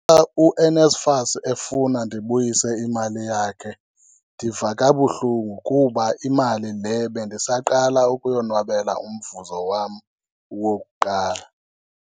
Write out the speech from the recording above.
UNSFAS efuna ndibuyise imali yakhe ndiva kabuhlungu kuba imali le bendisaqala ukuyonwabela, umvuzo wam wokuqala.